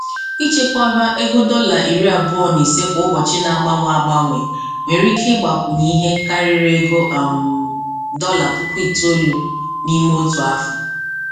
Ichekwaba ego dọla iri abụọ na ise kwa ụbọchị n'agbanwe agbanwe nwere ike ịgbakwunye ihe karịrị ego um dọla puku itoolu n'ime otu afọ.